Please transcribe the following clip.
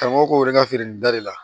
Karamɔgɔ ko yɛrɛ ka feere nin bɛɛ de la